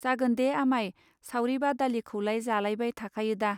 जागोनदे आमाय सावरि बादालि खौलाय जालायबाय थाखायोदा.